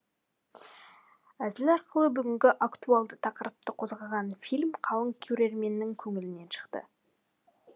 әзіл арқылы бүгінгі актуальды тақырыпты қозғаған фильм қалың көрерменнің көңілінен шықты